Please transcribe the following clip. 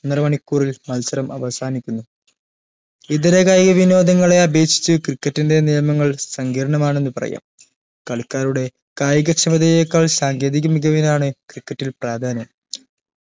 ഒന്നര മണിക്കൂറിൽ മത്സരം അവസാനിക്കുന്നു ഇതര കായിക വിനോദങ്ങൾ അപേക്ഷിച്ചു cricket ന്റെ നിയമൽ സങ്കീര്ണമാണെന്ന് പറയാം കളിക്കാരുടെ കായീക ക്ഷമതയേക്കാൾ സാങ്കേതിക മികവിനാണ് cricket ൽ പ്രാധാന്യം